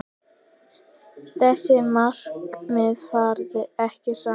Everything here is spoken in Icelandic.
Þessi markmið fara ekki saman.